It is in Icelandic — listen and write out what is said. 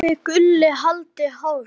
en þið Gulli haldið hárinu.